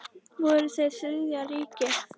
Voru þeir Þriðja ríkið?